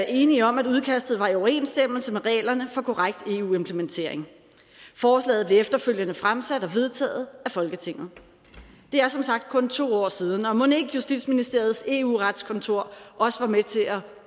enige om at udkastet var i overensstemmelse med reglerne for korrekt eu implementering forslaget blev efterfølgende fremsat og vedtaget af folketinget det er som sagt kun to år siden og mon ikke justitsministeriets eu retskontor også var med til at